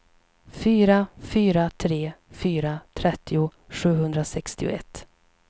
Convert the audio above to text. fyra fyra tre fyra trettio sjuhundrasextioett